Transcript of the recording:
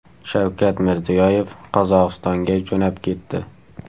Shavkat Mirziyoyev Qozog‘istonga jo‘nab ketdi.